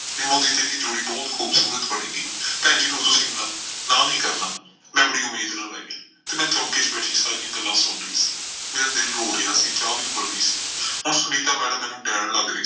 ਨਿੰਮੋ ਤੇ ਇਹਦੀ ਜੋੜੀ ਬਹੁਤ ਖੂਬਸੂਰਤ ਬਣੇਗੀ। ਭੈਣ ਜੀ ਹੁਣ ਤੁਸੀਂ ਨਾ ਨਾ ਨਈਂ ਕਰਨਾ, ਮੈਂ ਬੜੀ ਉਮੀਦ ਨਾਲ ਆਈ ਆਂ ਤੇ ਮੈਂ ਚੌਂਕੇ ਚ ਬੈਠੀ ਸਾਰੀਆਂ ਗੱਲਾਂ ਸੁਣ ਰਹੀ ਸੀ। ਮੇਰਾ ਦਿਲ ਰੋ ਰਿਹਾ ਸੀ, ਚਾਹ ਵੀ ਉੱਬਲ ਗਈ ਸੀ, ਹੁਣ ਸੁਨੀਤਾ ਮੈਡਮ ਮੈਨੂੰ ਡਾਇਣ ਲੱਗ ਰਹੀ ਸੀ।